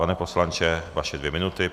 Pane poslanče, vaše dvě minuty.